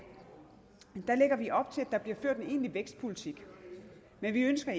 der bliver ført en egentlig vækstpolitik men vi ønsker